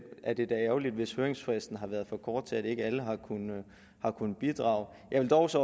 er det da ærgerligt hvis høringsfristen har været for kort til at alle har kunnet har kunnet bidrage jeg vil dog også